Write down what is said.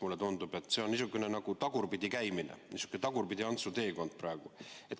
Mulle tundub, et see on praegu nagu tagurpidi käimine, niisugune Tagurpidi-Antsu teekond.